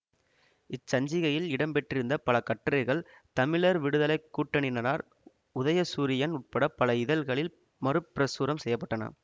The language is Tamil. இச்சஞ்சிகையில் இடம்பெற்றிருந்த பல கட்டுரைகள் தமிழர் விடுதலை கூட்டணியினரார் உதயசூரியன் உட்பட பல இதழ்களில் மறுபிரசுரம் செய்ய பட்டன